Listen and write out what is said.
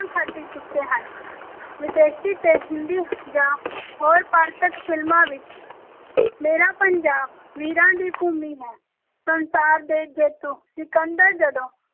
ਖੱਟ ਚੁੱਕੇ ਹਨ, ਵਿਦੇਸ਼ੀ ਤੇ ਹਿੰਦੀ ਜਾਂ ਹੋਰ ਪਾਂਤਕ ਫ਼ਿਲਮਾਂ ਵਿੱਚ ਮੇਰਾ ਪੰਜਾਬ ਵੀਰਾਂ ਦੀ ਭੂਮੀ ਹੈ, ਸੰਸਾਰ ਦੇ ਜੇਤੂ ਸਿਕੰਦਰ ਜਦੋਂ